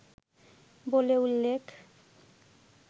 বলে উল্লেখ